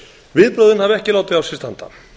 viðbrögðin hafa ekki látið á sér standa